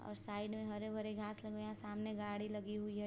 और साइड में हरे-भरे घास लगे हुए है सामने गाड़ी लगी हुई है।